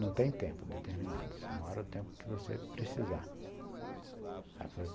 Não tem tempo determinado, você mora o tempo que você precisar.